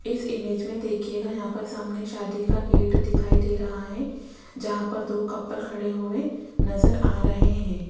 इस इमेज में देखिएगा यहां पर सामने शादी का गेट दिखाई दे रहा है जहां पर दो कपल खड़े हुए नजर आ रहे हैं।